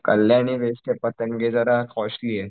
Kalyani best ये पतंगे जरा कॉस्टलीये.